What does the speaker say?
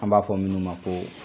An b'a fɔ minnu ma ko